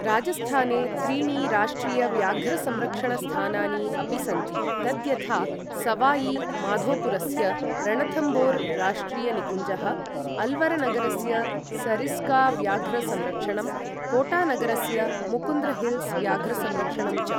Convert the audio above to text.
राजस्थाने त्रीणि राष्ट्रियव्याघ्रसंरक्षणस्थानानि अपि सन्ति, तद्यथा सवायि माधोपुरस्य रणथम्बोरराष्ट्रियनिकुञ्जः, अल्वरनगरस्य सरिस्काव्याघ्रसंरक्षणं, कोटानगरस्य मुकुन्द्रहिल्ल्स् व्याघ्रसंरक्षणं च।